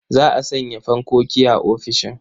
Za a sanya fankoki a ofisishin.